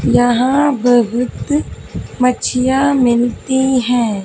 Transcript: यहां बहुत मच्छियां मिलती है।